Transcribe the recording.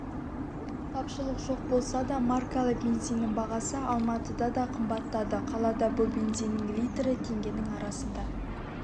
тапшылық жоқ болса да маркалы бензиннің бағасы алматыда да қымбаттады қалада бұл бензиннің литрі теңгенің арасында